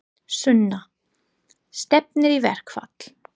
Sunna: Stefnir í verkfall?